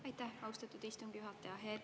Aitäh, austatud istungi juhataja!